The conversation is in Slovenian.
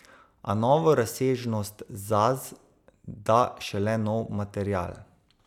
A novo razsežnost Zaz da šele nov material.